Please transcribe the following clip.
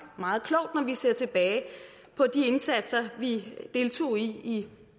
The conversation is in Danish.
meget klogt når vi ser tilbage på de indsatser vi deltog i